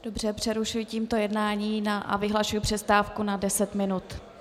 Dobře, přerušuji tímto jednání a vyhlašuji přestávku na deset minut.